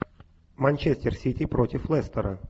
манчестер сити против лестера